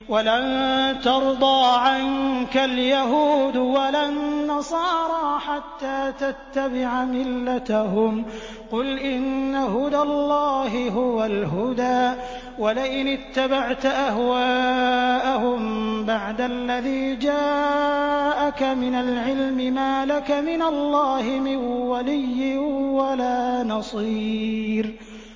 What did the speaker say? وَلَن تَرْضَىٰ عَنكَ الْيَهُودُ وَلَا النَّصَارَىٰ حَتَّىٰ تَتَّبِعَ مِلَّتَهُمْ ۗ قُلْ إِنَّ هُدَى اللَّهِ هُوَ الْهُدَىٰ ۗ وَلَئِنِ اتَّبَعْتَ أَهْوَاءَهُم بَعْدَ الَّذِي جَاءَكَ مِنَ الْعِلْمِ ۙ مَا لَكَ مِنَ اللَّهِ مِن وَلِيٍّ وَلَا نَصِيرٍ